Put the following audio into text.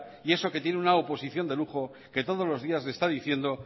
y eso que tiene una oposición de lujo que todos los días le está diciendo